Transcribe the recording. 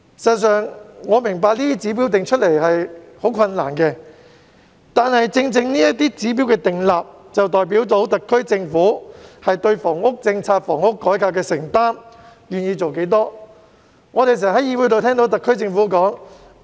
事實上，我明白這些指標難以釐定，但這些指標的訂立，正正代表特區政府對房屋政策和房屋改革有多少承擔、願意做多少工作。